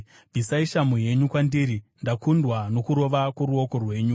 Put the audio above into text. Bvisai shamhu yenyu kwandiri; ndakundwa nokurova kworuoko rwenyu.